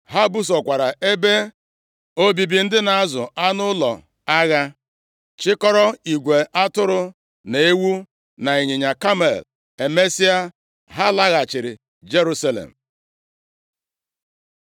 Ha busokwara ebe obibi ndị na-azụ anụ ụlọ agha, chikọrọ igwe atụrụ na ewu na ịnyịnya kamel. Emesịa ha laghachiri Jerusalem.